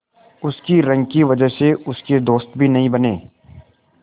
उसकी रंग की वजह से उसके दोस्त भी नहीं बने